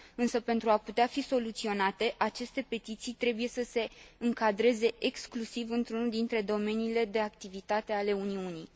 Însă pentru a putea fi soluționate, aceste petiții trebuie să se încadreze exclusiv într unul dintre domeniile de activitate ale Uniunii.